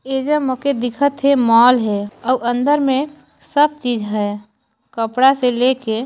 इ जग मोके दिखत हे मॉल है और अंदर मे सब चीज है कपड़ा से लेके--